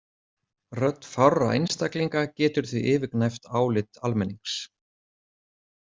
Rödd fárra einstaklinga getur því yfirgnæft álit almennings.